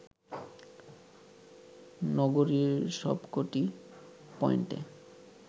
নগরীর সবকটি পয়েন্টে